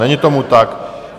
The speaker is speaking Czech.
Není tomu tak.